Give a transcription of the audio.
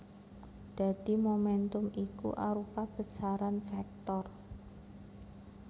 Dadi momèntum iku arupa besaran vektor